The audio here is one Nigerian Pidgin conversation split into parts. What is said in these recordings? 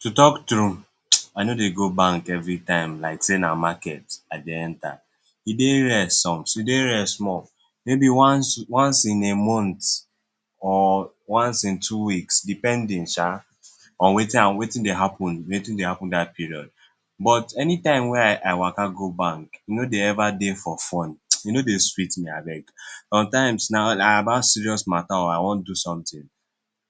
To talk tru I no dey go bank every time like sey na market I dey enter, e dey rare small, maybe once in a month or once in two weeks, depending sha in Wetin dey happen sha Wetin dey happen dat period but anytime wey I Waka go bank e no dey ever dey for fun e no dey sweet me abeg, sometimes na about serous mama tree or I wan do something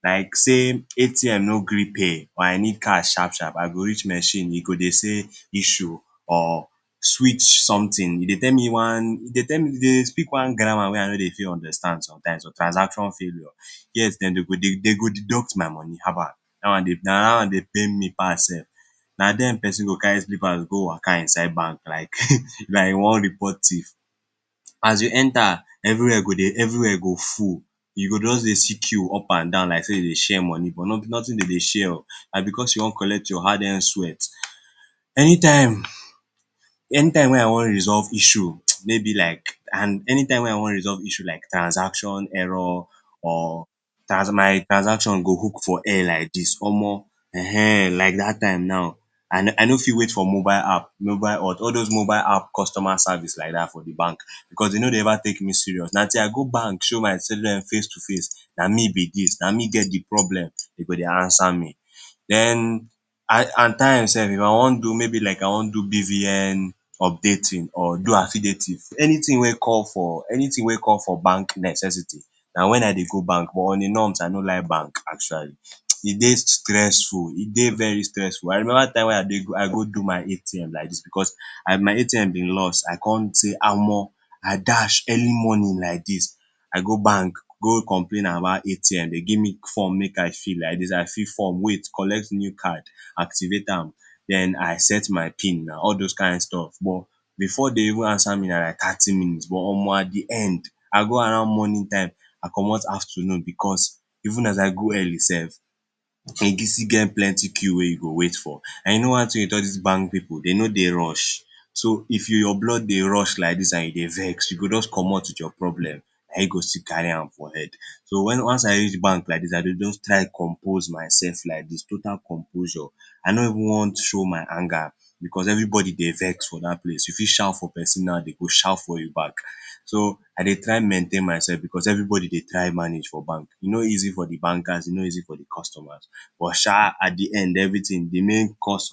like sey ATM no gree pay I need cash sharp sharp I go reach machine e go dey say issue or switch something, e dey tell me one, e dey speak one grammar wey I no fit understand sometimes like transaction failure yet dem go deduct my money haba na day one dey pain me pass sef na den persin go carry slippers go Waka inside bank like like he wan report thief. As u enta every where go full, u go just dey see queue up and down like sey dem dey share miney but nothing dem dey share oh na because u wan collect your hard earned sweat, anytime wey I wan resolve issue maybe like, and anytime wey I wan resolve issue like transaction error or my transaction go hook for air like dis Omo, um like dat time now I no fit wait for mobile app, all those mobile app customer service like dat for de bank because dem no dey ever take me serious, na till I go bank show dem face to face, na me b dis na me get de problem, dem go dey answer me den attimes sef maybe if I wan do BVN updating, anything wey call for bank necessity na wen I dey go bank but in a norms I no like bank actually, e dey stressful e dey very stressful. I remember time wey I dey, I go do my ATM like dis because as my ATM bin loss I con sey omo, I dash early morning like dis I go bank go complain about ATM, dem give me form make I fill, like dis I fill form wait collect new card, activate am, den I set my pin na all those kind stuffs but before dem even answer me na like thirty minutes but Omo I dey end, I go around morning time I commot afternoon because even as I go early sef e still get plenty queue wey u go wait for and you know one thing with all dis bank pipu dem no dey rush, so if your blood dey rush like dis and you dey vex u gi jus commot with your problem na you go still carry am with your head, so once I reach bank like dis I dey just try compose myself like dis total composure, I no even wan show my anger because every body dey vex for dat place you fit shout for persin now dem go shout for you back so o dey try maintain myself because everybody dey try mange for bank e no easy for de bankers e no easy for de customers. But sha at de end everything de main cause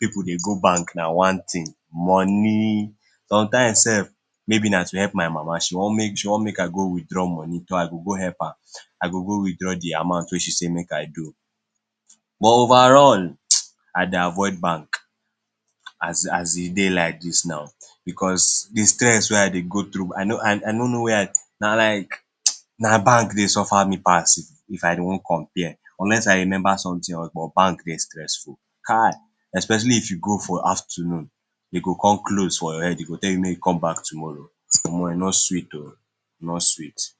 if pipu dey go bank na one thing money, sometimes sef maybe na to help my mama she wan make I go withdraw money, Toh I go go help her, I go go withdraw de amount wey she say make I do, but over all [hisses] I dey avoid bank, as e dey like dis now because de stress wey I dey go through i no no where I, na like[hisses] na bank dey suffer me pass oh, If I wan compare unless, I remember something but bank dey stresful, especially if u go for afternoon, e go con close for your head dem go tell you make u come back tomorrow, Omo e no seeet oh, e no sweet.